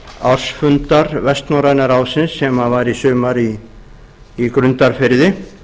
ársfundar vestnorræna ráðsins sem var í sumar í grundarfirði